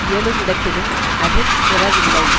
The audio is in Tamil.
இயலுமிடத்திலும் அதிற் பிறவில்லை